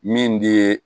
Min di